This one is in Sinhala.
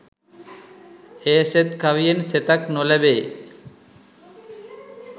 ඒ සෙත් කවියෙන් සෙතක් නොලැබේ.